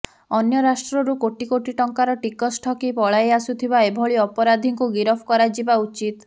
ଅନ୍ୟ ରାଷ୍ଟ୍ରରୁ କୋଟି କୋଟି ଟଙ୍କାର ଟିକସ ଠକି ପଳାଇ ଆସୁଥିବା ଏଭଳି ଅପରାଧୀଙ୍କୁ ଗିରଫ କରାଯିବା ଉଚିତ